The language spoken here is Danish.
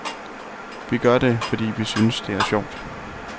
Vi gør det, fordi vi synes det er sjovt.